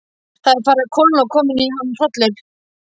Það var farið að kólna og kominn í hann hrollur.